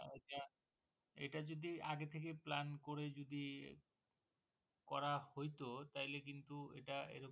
এটা যদি আগে থেকে Plan করে যদি করা হইতো তাইলে কিন্তু এটা এইরকম